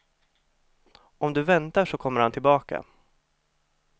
Om du väntar så kommer han tillbaka.